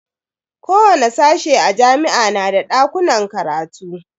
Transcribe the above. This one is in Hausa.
Kowani sashe a jami'a na da dakunan karatu.